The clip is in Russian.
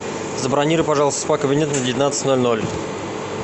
забронируй пожалуйста спа кабинет на девятнадцать ноль ноль